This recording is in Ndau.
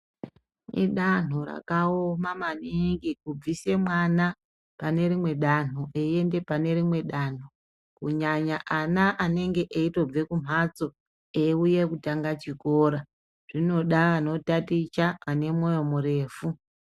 Idanho rakaoma maningi kubvise mwana pane rimwe danho reiende pane rimwe danho kunyanya ana anege eiende kumhatso eiuya kutanga chikora zvinoda anotaticha ane mwoyo murefu.